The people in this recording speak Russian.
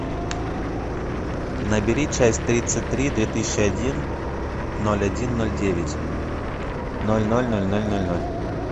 набери часть тридцать три две тысячи один ноль один ноль девять ноль ноль ноль ноль ноль ноль